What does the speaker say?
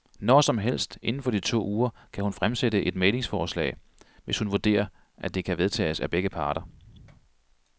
Nårsomhelst inden for de to uger kan hun fremsætte et mæglingsforslag, hvis hun vurderer, at det kan vedtages af begge parter.